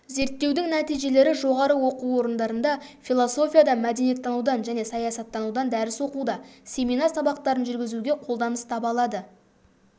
зерттеудің нәтижелері жоғары оқу орындарында философиядан мәдениеттанудан және саясаттанудан дәріс оқуда семинар сабақтарын жүргізуге қолданыс таба алады